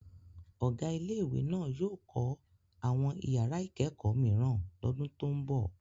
Ọ̀gá ilé-ìwé náà yóò kọ́ àwọn ìyàrá-ìkẹ́kọ̀ọ́ mìíràn lọ́dún tó ń bọ̀.